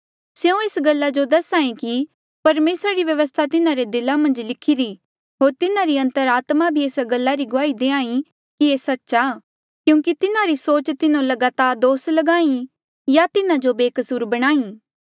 स्यों एस गल्ला जो दस्हा ऐें कि परमेसरा री व्यवस्था तिन्हारे दिला मन्झ लिखिरी होर तिन्हारी अंतरात्मा भी एस गल्ला री गुआही देई कि ये सच्च आ क्यूंकि तिन्हारी सोच तिन्हो लगातार दोस ल्गाहीं या तिन्हा जो बेकसूर बणाहीं